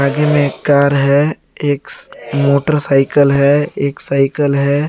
आगे में एक कार है एक मोटरसाइकल है एक साइकल है।